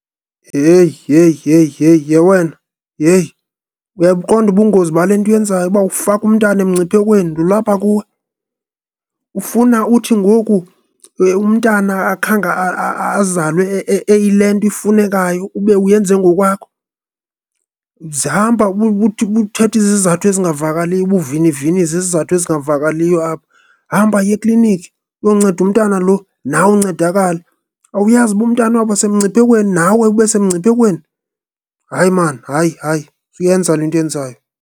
Yheyi, yheyi, yheyi, yheyi, yhe wena, yheyi! Uyabuqonda ubungozi bale nto uyenzayo ukuba ufaka umntana emngciphekweni, lo ulapha kuwe? Ufuna uthi ngoku umntana akhange azalwe eyile nto ifunekayo, ube uyenze ngokwakho? Uzahamba ube uthetha izizathu ezingavakaliyo, ube uviniviniza izizathu ezingavakaliyo apha. Hamba yiya eklinikhi uyonceda umntana lo, nawe uncedakale! Awuyazi uba umntana uyawuba semngciphekweni, nawe ube semngciphekweni? Hayi maan, hayi hayi, suyenza le nto uyenzayo.